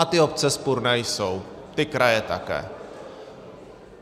A ty obce vzpurné jsou, ty kraje také.